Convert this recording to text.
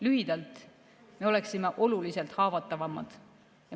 Lühidalt: me oleme oluliselt haavatavamad.